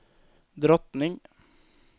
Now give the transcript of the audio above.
drottning